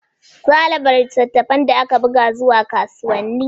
Zaa raba littafan da aka buga zuwa yan kasuwanni.